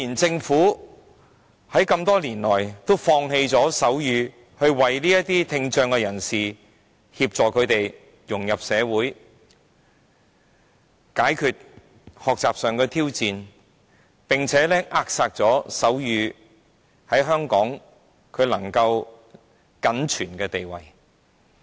政府多年來放棄了推動手語，沒有協助聽障人士融入社會、紓解學習上的挑戰，更扼殺了手語在香港僅存的地位。